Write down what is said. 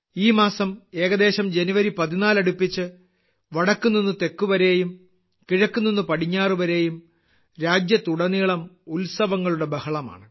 ഈ മാസം ഏകദേശം ജനുവരി 14 അടുപ്പിച്ച് വടക്ക് നിന്ന് തെക്ക് വരെയും കിഴക്ക് നിന്ന് പടിഞ്ഞാറ് വരെയും രാജ്യത്തുടനീളം ഉത്സവങ്ങളുടെ ബഹളമാണ്